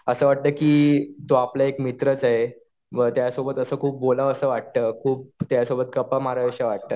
असं वाटतं कि तो आपला एक मित्रच आहे. व त्यासोबत खूप असं बोलावंसं वाटतं. खुप त्यासोबत गप्पा माराव्याश्या वाटतात.